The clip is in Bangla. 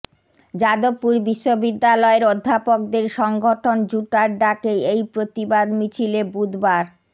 যাদবপুর বিশ্ববিদ্যালয়ের অধ্যপকদের সংগঠন জুটার ডাকে এই প্রতিবাদ মিছিলে বুধবার